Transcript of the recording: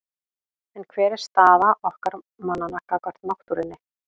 En hver er staða okkar mannanna gagnvart náttúrunni?